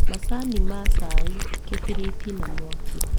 Macani ma cai, gĩbiriti na mwaki